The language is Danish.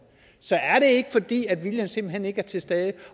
så er det ikke fordi viljen simpelt hen ikke er til stede